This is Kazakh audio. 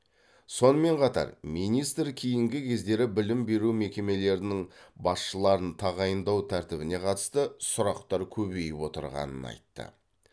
сонымен қатар министр кейінгі кездері білім беру мекемелерінің басшыларын тағайындау тәртібіне қатысты сұрақтар көбейіп отырғанын айтты